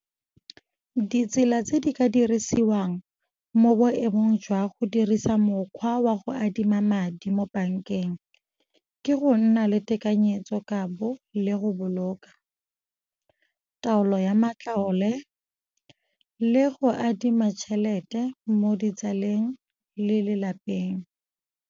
Ditsela tse di ka dirisiwang mo boemong jwa go dirisa mokgwa wa go adima madi mo bankeng ke go nna le tekanyetsokabo, le go boloka, taolo ya matlole le go adima tšhelete mo ditsaleng le lelapeng.